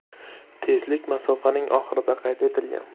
Tezlik masofaning oxirida qayd etilgan.